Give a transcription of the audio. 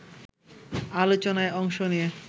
আলোচনায় অংশ নিয়ে